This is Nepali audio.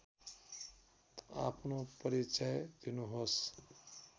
आफ्नो परिचय दिनुहोस्